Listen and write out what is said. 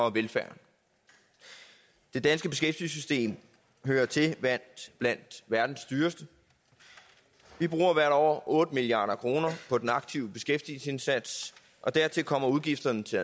og velfærden det danske beskæftigelsessystem hører til blandt verdens dyreste vi bruger hvert år otte milliard kroner på den aktive beskæftigelsesindsats og dertil kommer udgifterne til